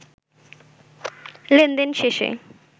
লেনদেন শেষে